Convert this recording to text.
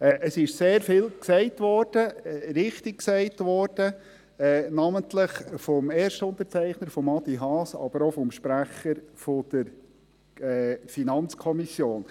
Es ist sehr vieles gesagt, richtig gesagt worden, namentlich vom Erstunterzeichner Adrian Haas, aber auch vom Sprecher der FiKo.